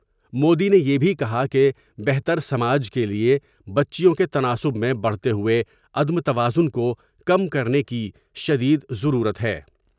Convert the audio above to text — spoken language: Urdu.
مودی نے یہ بھی کہا کہ بہتر سماج کے لئے بچیوں کے تناسب میں بڑھتے ہوۓ عدم توازن کو کم کرنے کی شدید ضرورت ہے